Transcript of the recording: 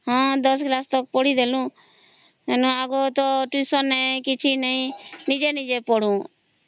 ହଁ ଦଶ class ତକ ପଢ଼ଇଦେଲୁ ଆଗର ଟ୍ୟୁସନ ନାହିଁ କିଛି ନାହିଁ ନିଜେ ନିଜେ ପଢୁ